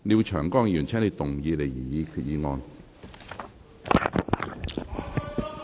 廖長江議員，請動議你的擬議決議案。